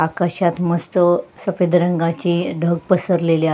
आकाशात मस्त सफेद रंगाचे ढग पसरलेले आ--